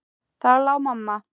Þar lá mamma.